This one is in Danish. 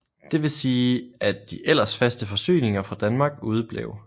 Dvs at de ellers faste forsyninger fra Danmark udeblev